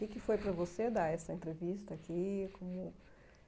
O que é que foi para você dar essa entrevista aqui? Como